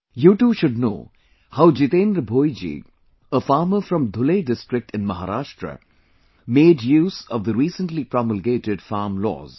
You too should know how Jitendra Bhoiji, a farmer from Dhule district in Maharashtra made use of the recently promulgated farm laws